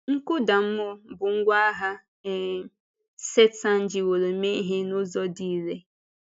Nkụda mmụọ bụ ngwá agha um Sẹ́tán jìwòrò mee ihe n’ụzọ dị irè.